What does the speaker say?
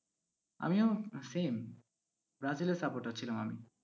আমিও same, ব্রাজিলের supporter ছিলাম আমি।